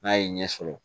N'a ye ɲɛ sɔrɔ